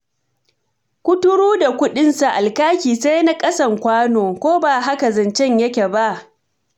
Kuturu da kuɗinsa alkaki sai na ƙasan kwano, ko ba haka zancen yake ba?